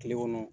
Kile kɔnɔ